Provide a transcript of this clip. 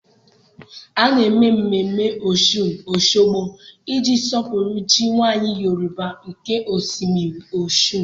A na-eme mmemme Ọshụn Osogbo iji sọpụrụ chi nwanyị Yorùbá nke osimiri Ọshụn.